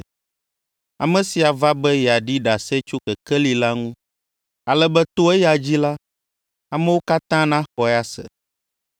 Ame sia va be yeaɖi ɖase tso kekeli la ŋu, ale be to eya dzi la, amewo katã naxɔe ase.